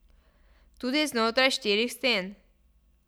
Tudi znotraj štirih sten.